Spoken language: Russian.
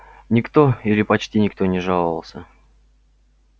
никто или почти никто не жаловался